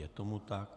Je tomu tak.